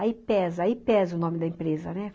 Aí pesa, aí pesa o nome da empresa, né?